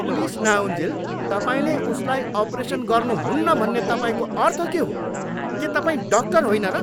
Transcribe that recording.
Police नआउन्जेल तपाईँले उसलाई अपरेसन गर्नुहुन्न भन्ने तपाईँको अर्थ के हो? के तपाईँ डाक्टर होइन र?